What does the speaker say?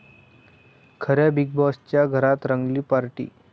खऱ्या बिग बाॅसच्या घरात रंगली पार्टी!